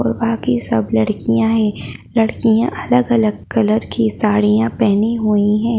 और आगे सब लड़कियां हैं लड़कियां अलग अलग कलर की साडिया पहनी हुई है।